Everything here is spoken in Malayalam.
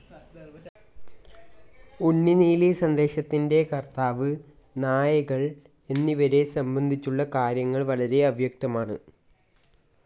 ഉണ്ണുനീലി സന്ദേശത്തിൻ്റെ കർത്താവ്, നായകൾ എന്നിവരെ സംബന്ധിച്ചുള്ള കാര്യങ്ങൾ വളരെ അവ്യക്തമാണ്.